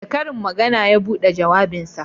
Da karin magana ya buɗe jawabinsa